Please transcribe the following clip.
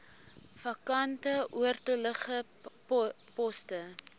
vakante oortollige poste